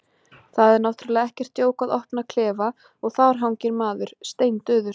Það er náttúrlega ekkert djók að opna klefa og þar hangir maður, steindauður.